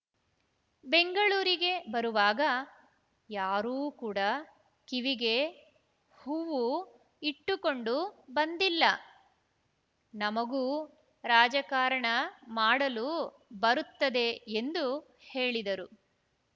ಬೆಂಗಳೂರಿಗೆ ಬರುವಾಗ ಯಾರೂ ಕೂಡ ಕಿವಿಗೆ ಹೂವು ಇಟ್ಟುಕೊಂಡು ಬಂದಿಲ್ಲ ನಮಗೂ ರಾಜಕಾರಣ ಮಾಡಲು ಬರುತ್ತದೆ ಎಂದು ಹೇಳಿದರು